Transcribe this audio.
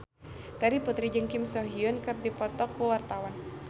Terry Putri jeung Kim So Hyun keur dipoto ku wartawan